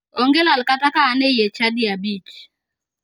Onge lal kata ka in e chadi abich.